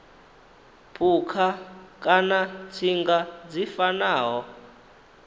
phukha kana tsinga dzi fanaho